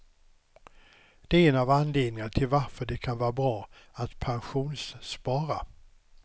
Det är en av anledningarna till varför det kan vara bra att pensionsspara.